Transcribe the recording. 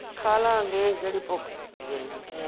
ਖਾਲਾਂਗੇ, ਕਿਹੜੀ ਭੁੱਖ ਲਗੀ ਇੰਨੀ